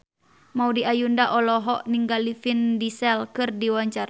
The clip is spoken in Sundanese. Maudy Ayunda olohok ningali Vin Diesel keur diwawancara